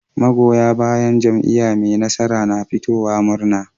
Magoya bayan jam'iya me nasara na fitowa murna